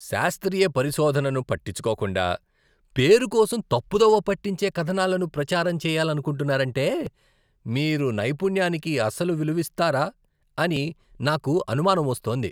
శాస్త్రీయ పరిశోధనను పట్టించుకోకుండా, పేరు కోసం తప్పుదోవ పట్టించే కథనాలను ప్రచారం చేయాలనుకుంటున్నారంటే, మీరు నైపుణ్యానికి అసలు విలువిస్తారా అని నాకు అనుమానం వస్తోంది.